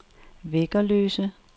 Væggerløse